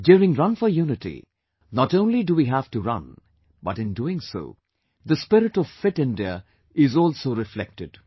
During 'Run for Unity'not only do we have to run, but in doing so the spirit of FIT India is also reflected